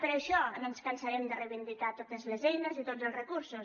per això no ens cansarem de reivindicar totes les eines i tots els recursos